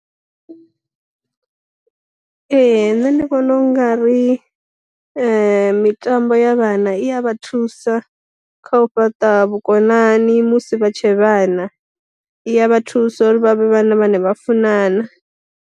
Ee nṋe ndi vhona u nga ri mitambo ya vhana iya vha thusa kha u fhaṱa vhukonani musi vha tshe vhana, iya vha thusa uri vha vhe vhana vhane vha funana.